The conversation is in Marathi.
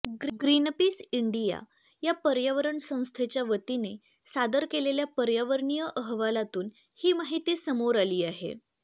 ग्रीनपीस इंडिया या पर्यावरण संस्थेच्या वतीने सादर केलेल्या पर्यावरणीय अहवालातून ही माहिती समोर आली आहे